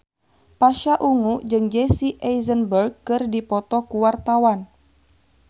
Pasha Ungu jeung Jesse Eisenberg keur dipoto ku wartawan